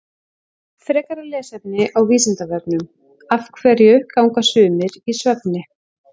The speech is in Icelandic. Frekara lesefni á Vísindavefnum Af hverju ganga sumir í svefni?